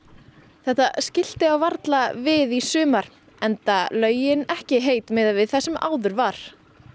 þetta skilti á varla við í sumar enda laugin ekki heit miðað við það sem áður var